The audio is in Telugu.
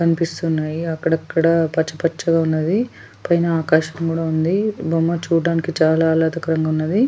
కనిపిస్తున్నాయి అక్కడక్కడ పచ్చిపచ్చిగా ఉన్నది పైన ఆకాశం కూడా ఉంది బొమ్మ చూడడానికి చాలా ఆహ్లాదకంగా ఉన్నది.